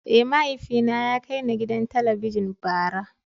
Eh, mahaifina ya kai ni gidan Talabijin bara.